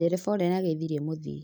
Dereba ũrĩa nĩageithirie mũthii